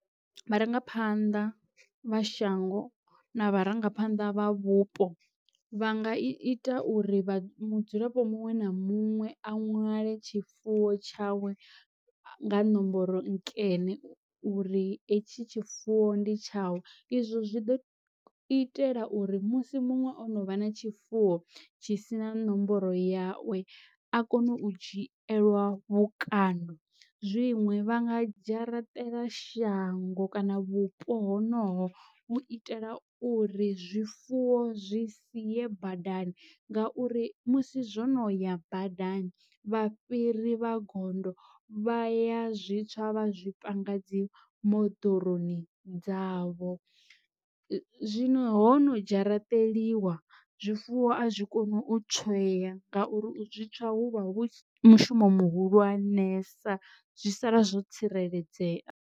Vharangaphanḓa vha shango na vharangaphanḓa vha vhupo vha nga ita uri vha mudzulapo muṅwe na muṅwe a nwale tshifuwo tshawe nga nomboro nkene uri etshi tshifuwo ndi tshawe. Izwo zwi ḓo itela uri musi muṅwe o no vha na tshifuwo tshi sina nomboro yawe a kone u dzhielwa vhukando. Zwiṅwe vha nga dzharaṱele shango kana vhupo ho no ho u itela uri zwifuwo zwi siye badani ngauri musi zwono ya badani vha fhiri vha gondo vha ya zwi tswa vha zwi panga dzi moḓoroni dzavho. Zwino hono dzharaṱeliwa zwifuwo a zwi koni u tsweya ngauri u zwi tswa hu vha hu mushumo muhulwanesa zwi sala zwo tsireledzea.